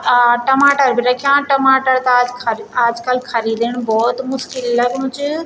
अ टमाटर भी रख्याँ टमाटर ता आज खर आजकल खरीदण बहौत मुश्किल लगणु च।